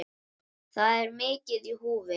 Þar er mikið í húfi.